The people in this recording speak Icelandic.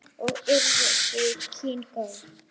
Og urðu þau kynni góð.